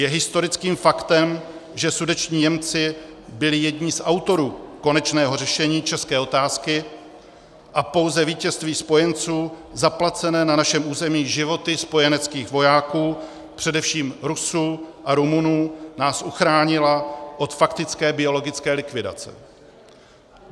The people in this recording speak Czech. Je historickým faktem, že sudetští Němci byli jedni z autorů konečného řešení české otázky a pouze vítězství spojenců, zaplacené na našem území životy spojeneckých vojáků, především Rusů a Rumunů, nás uchránila od faktické biologické likvidace.